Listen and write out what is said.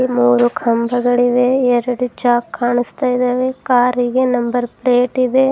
ಮೂರು ಕಂಬಗಳಿವೆ ಎರಡು ಜಾಕ್ ಕಾಣಸ್ತಾ ಇದಾವೆ ಕಾರಿಗೆ ನಂಬರ್ ಪ್ಲೇಟ್ ಇದೆ.